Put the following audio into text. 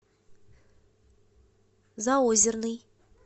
заозерный